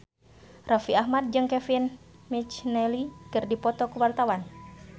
Raffi Ahmad jeung Kevin McNally keur dipoto ku wartawan